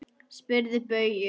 Spyrðu Bauju!